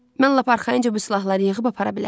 Mən lap arxayınca bu silahları yığıb apara bilərdim.